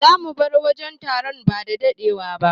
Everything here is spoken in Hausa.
Zamu bar wajen taron bada dadewa ba.